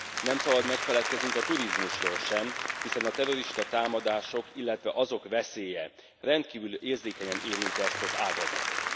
Nem szabad megfeledkeznünk a turizmusról sem, hiszen a terroristatámadások, illetve azok veszélye rendkívül érzékenyen érinti ezt az ágazatot.